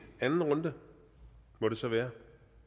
anden runde må det så være